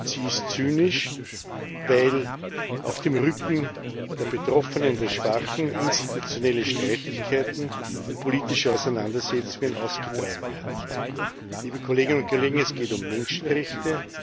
Und sie ist zynisch, weil auf dem Rücken der Betroffenen, der Schwachen, institutionelle Streitigkeiten und politische Auseinandersetzungen ausgetragen werden. Liebe Kolleginnen und Kollegen, es geht um Menschenrechte.